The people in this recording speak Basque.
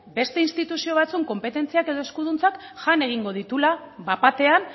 beste instituzio batzuen konpetentziak edo eskuduntzak jan egingo dituela bat batean